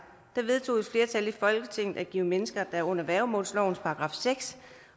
vedtog et flertal i folketinget at give mennesker der er under værgemålslovens § seks